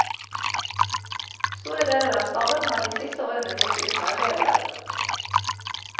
Store deler av staben har de siste årene gått uten arbeid og lønn.